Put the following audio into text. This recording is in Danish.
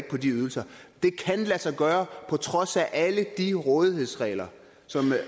på de ydelser det kan lade sig gøre på trods af alle de rådighedsregler som